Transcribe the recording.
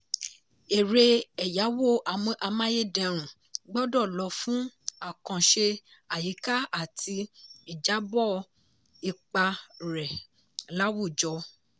erè ẹ̀yáwó amáyédẹrùn gbọ́dọ̀ lò fún àkànṣe àyíká àti ìjábọ̀ ipa rẹ̀ láwùjọ.